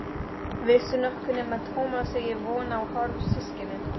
Veistu nokkuð nema Tómas eigi von á hálfsystkini?